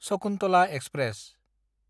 Shakuntala express